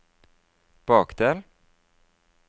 bakdel